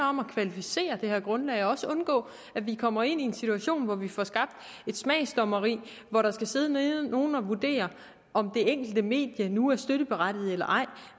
om at kvalificere det her grundlag og også undgå at vi kommer ud i en situation hvor vi får skabt et smagsdommeri hvor der skal sidde nogen og vurdere om det enkelte medie nu er støtteberettiget eller ej